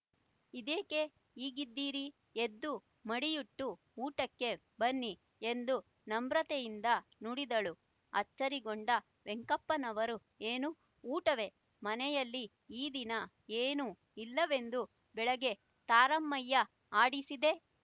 ಇದೇಕೆ ಹೀಗಿದ್ದೀರಿ ಎದ್ದು ಮಡಿಯುಟ್ಟು ಊಟಕ್ಕೆ ಬನ್ನಿ ಎಂದು ನಮ್ರತೆಯಿಂದ ನುಡಿದಳು ಅಚ್ಚರಿಗೊಂಡ ವೆಂಕಪ್ಪನವರು ಏನು ಊಟವೆ ಮನೆಯಲ್ಲಿ ಈ ದಿನ ಏನೂ ಇಲ್ಲವೆಂದು ಬೆಳಿಗ್ಗೆ ತಾರಮ್ಮಯ್ಯ ಆಡಿಸಿದೆ